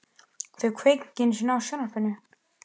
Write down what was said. Þau kveikja ekki einu sinni á sjónvarpinu.